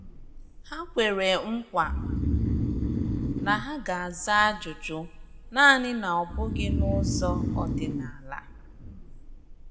Ha kwere nkwa na ha ga-aza ajụjụ, naani na ọ bughi n'ụzọ ọdịnala.